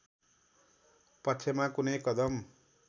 पक्षमा कुनै कदम